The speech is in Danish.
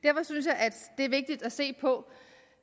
det er vigtigt at se på